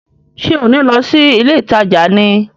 Ṣé ò ní lọ sí ilé ìtajà ni?